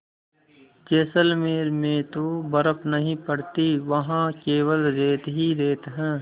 जैसलमेर में तो बर्फ़ नहीं पड़ती वहाँ केवल रेत ही रेत है